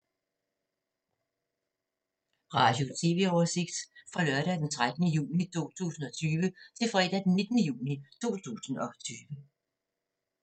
Radio/TV oversigt fra lørdag d. 13. juni 2020 til fredag d. 19. juni 2020